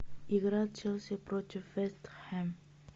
игра челси против вест хэм